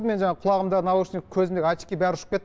мен жаңағы құлағымдағы наушник көзімдегі очки бәрі ұшып кетті